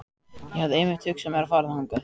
Ég hafði einmitt hugsað mér að fara þangað